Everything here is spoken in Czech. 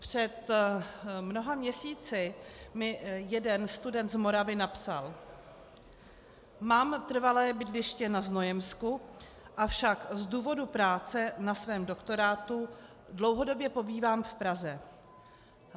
Před mnoha měsíci mi jeden student z Moravy napsal: "Mám trvalé bydliště na Znojemsku, avšak z důvodu práce na svém doktorátu dlouhodobě pobývám v Praze.